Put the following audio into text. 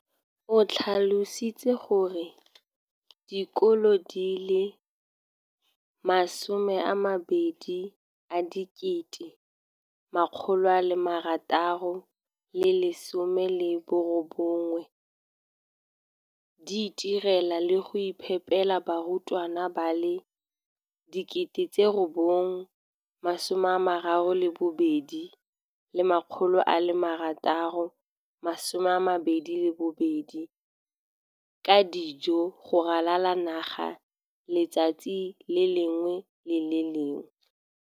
O tlhalositse gore dikolo di le 20 619 di itirela le go iphepela barutwana ba le 9 032 622 ka dijo go ralala naga letsatsi le lengwe le le lengwe.